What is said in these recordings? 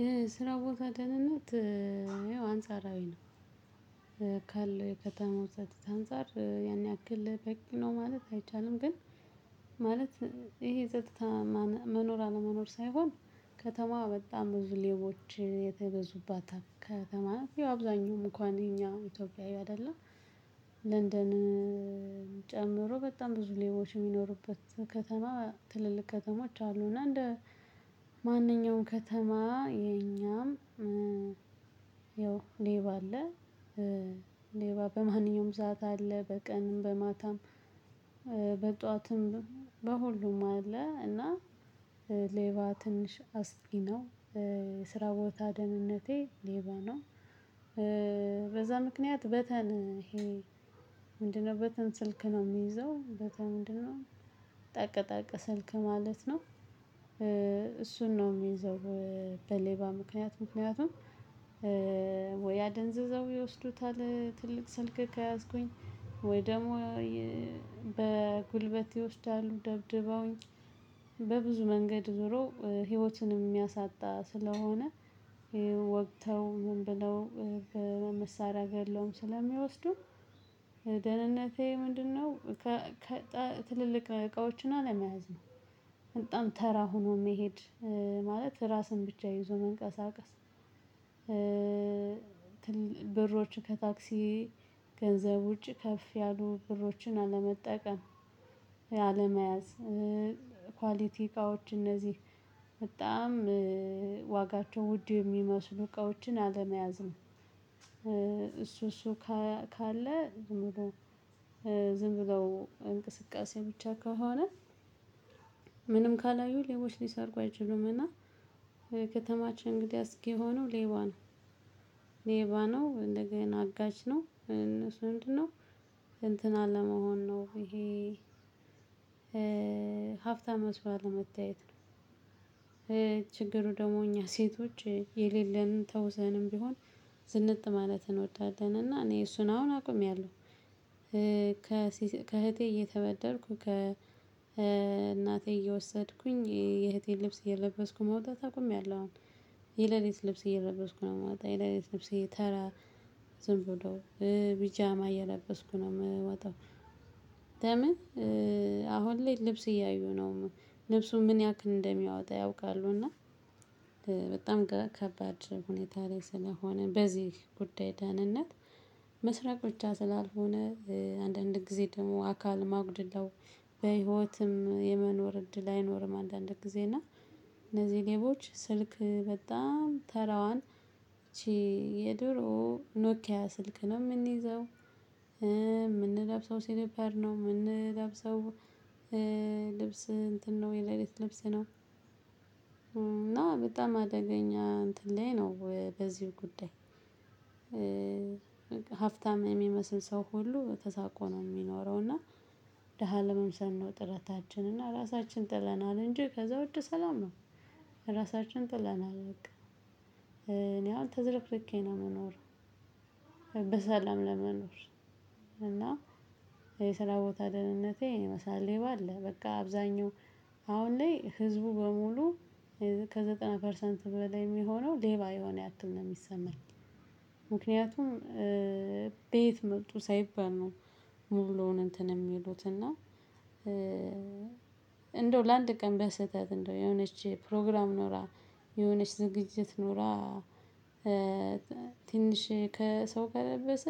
የስራ ቦታ ደህንነት አንጻራዊ ነው። ካለው የከተማው ጸጥታ አንፃር ያን ያክል በቂ ነው ማለት አይቻልም። ግን ማለት ይሄ ጸጥታ መኖር አለመኖር ሳይሆን ከተማ በጣም ብዙ ሌቦች የተበዙባት ከተማ ናት። ያው አብዛኛውም እንኳን የኛ ኢትዮጵያዊ አይደለም። ለንደንም ጨምሮ በጣም ብዙ ሌቦች የሚኖሩበት ከተማ ትልልቅ ከተሞች አሉ። እና እንደ ማንኛውም ከተማ የኛም ያው ሌባ አለ። ሌባ በማንኛውም ሰዓት አለ በቀንም በማታም በጧትም በሁሉም አለ። እና ሌባ ትንሽ አስቂ ነው ስራ ቦታ ደህንነቴ ሌባ ነው። በዛ ምክንያት በተን ይሄ ምንድነው? በተን ስልክ ነው የሚይዘው በተን ምንድነው? ጠቅጠቅ ስልክ ማለት ነው። እሱን ነው የሚይዘው። በሌባ ምክንያት ምክንያቱም ወይ አደንዝዘው ይወስዱታል ትልቅ ስልክ ከያዝኩኝ ወይ ደግሞ በጉልበት ይወስዳሉ ደብድበውኝ በብዙ መንገድ ዞሮ ህይወትንም የሚያሳጣ ስለሆነ ወግተው ምን ብለው በመሳሪያ ገለውም ስለሚወስዱ ደህንነቴ ምንድነው? ትልልቅ እቃዎችን አለመያዝ ነው። በጣም ተራ ሆኖ መሄድ ማለት ራስን ብቻ ይዞ መንቀሳቀስ ብሮች ከታክሲ ገንዘብ ውጭ ከፍ ያሉ ብሮችን አለመጠቀም። ያለመያዝ ኳሊቲ እቃዎች እነዚህ በጣም ዋጋቸው ውድ የሚመስሉ እቃዎችን አለመያዝም። እሱ እሱ ካለ ዝም ብለው እንቅስቃሴ ብቻ ከሆነ ምንም ካላዩ ሌቦች ሊሰርቁ አይችሉምና። ከተማችን እንግዲህ አስጊ የሆነው ሌባ ነው። ሌባ ነው እንደገና አጋች ነው እነሱ ምንድነው? እንትን አለመሆን ነው። ይሄ ሀብታም መስሎ አለመታየት። ችግሩ ደግሞ እኛ ሴቶች የሌለንን ተውሰንም ቢሆን ዝንጥ ማለት እንወዳለን እና እኔ እሱን አሁን አቁሚያለሁ። ከእህቴ እየተበደርኩ ከእናቴ እየወሰድኩኝ የእህቴን ልብስ እየለበስኩ መውጣት አቁሜያለሁ። የሌሊት ልብስ እየለበስኩ ነው የምወጣው የሌሊት ልብስ ተራ ዝም ብሎ ቢጃማ እየለበስኩ ነው የምወጣው። ለምን? አሁን ላይ ልብስ እያዩ ነው ልብሱ ምን ያክል እንደሚያወጣ ያውቃሉ። እና በጣም ከከባድ ሁኔታ ላይ ስለሆነ በዚህ ጉዳይ ደህንነት ምስራቅ ብቻ ስላልሆነ። አንዳንድ ጊዜ ደግሞ አካልም አጉድለው በህይወትም የመኖር እድል አይኖርም። አንዳንድ ጊዜ እና እነዚህ ሌቦች ስልክ በጣም ተራዋን የድሮ ኖኪያ ስልክ ነው የምንይዘው የምንለብሰው ሲሊፐር ነው የምንለብሰው። ልብስ እንትን ነው የሌሊት ልብስ ነው። እና በጣም አደገኛ እንትን ላይ ነው በዚሁ ጉዳይ። ሀብታም የሚመስል ሰው ሁሉ ተሳቆ ነው የሚኖረው። እና ደሃ ለመምሰል ነው ጥረታችን እና ራሳችን ጥለናል እንጂ ከዛ ውጪ ሰላም ነው። ራሳችን ጥለናል በቃ። እኔ አሁን ተዘርክርኬ ነው ምኖረው። በሰላም ለመኖር እና የስራ ቦታ ደህንነቴ ይህን ይመስላል። ሌባ አለ በቃ አብዛኛው አሁን ላይ ህዝቡ በሙሉ ከዘጠና ፐርሰንት በላይ የሚሆነው ሌባ የሆነ ያክል ነው የሚሰማኝ። ምክንያቱም በየት መጡ ሳይባል ነው። ሙሉውን እንትን የሚሉት እና እንደው ለአንድ ቀን በስህተት እንደው የሆነች ፕሮግራም ኖራ የሆነች ዝግጅት ኖራ። ትንሽ ከሰው ከለበሰ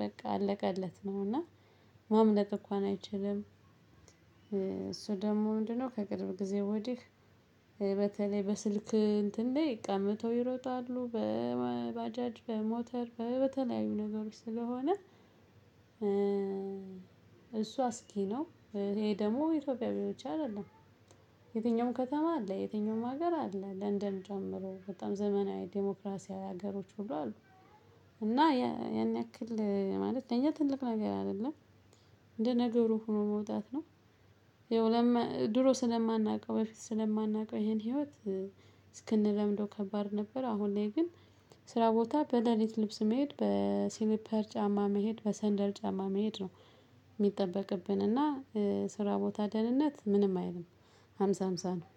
በቃ አለቀለት ነው እና ማምለጥ እንኳን አይችልም። እሱ ደግሞ ምንድነው ከቅርብ ጊዜ ወዲህ በተለይ በስልክ እንትን ላይ ቀምተው ይሮጣሉ በባጃጅ በሞተር በተለያዩ ነገሮች ስለሆነ። እሱ አስጊ ነው። ይሄ ደግሞ ኢትዮጵያዊ ብቻ አይደለም። የትኛውም ከተማ አለ የትኛውም ሀገር አለ ለንደን ጨምሮ በጣም ዘመናዊ ዲሞክራሲያዊ ሀገሮች ሁሉ አሉ። እና ያን ያክል ማለት ለእኛ ትልቅ ነገር አይደለም። እንደ ነገሩ ሆኖ መውጣት ነው። የወለም ድሮ ስለማናውቀው በፊት ስለማናውቀው ይሄን ህይወት እስክንለምደው ከባድ ነበር። አሁን ላይ ግን ስራ ቦታ በሌሊት ልብስ መሄድ በሲሊፐር ጫማ መሄድ በሰንደል ጫማ መሄድ ነው። የሚጠበቅብን እና የስራ ቦታ ደህንነት ምንም አይልም። ሃምሳ ሃምሳ ነው።